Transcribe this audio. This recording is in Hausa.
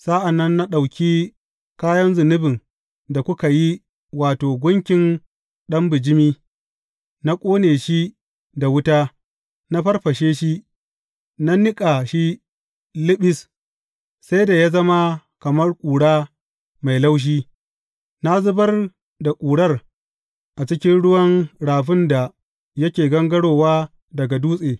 Sa’an nan na ɗauki kayan zunubin da kuka yi, wato, gunkin ɗan bijimi, na ƙone shi da wuta, na farfashe shi, na niƙa shi liɓis, sai da ya zama kamar ƙura mai laushi, na zubar da ƙurar a cikin ruwan rafin da yake gangarowa daga dutse.